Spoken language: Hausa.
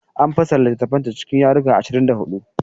An fassara littattafanta cikin yarruruka ashirin da huɗu.